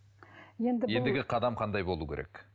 енді ендігі қадам қандай болуы керек